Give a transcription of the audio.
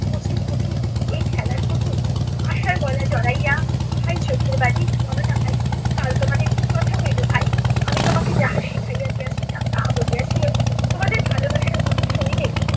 কচি খুকি, এই খেলার পুতুল? আশার গলা জড়াইয়া ভাই চোখের বালি বলো না ভাই, কাল তোমাদের কী কথা হইল ভাই? আমি তোমাকে যাহা শিখাইয়া দিয়াছিলাম তাহা বলিয়াছিলে? তোমাদের ভালোবাসার কথা শুনিলেই